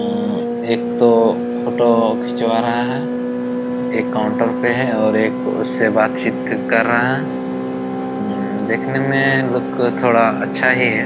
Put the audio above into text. उम्म्म्म एक तो फोटो खिंचवा रहा है एक काउंटर पे है और एक उससे बात-चीत कर रहा है उम्म्म देखने में लुक थोड़ा अच्छा ही है।